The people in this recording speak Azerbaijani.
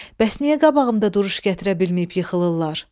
Bəs niyə qabağımda duruş gətirə bilməyib yıxılırlar?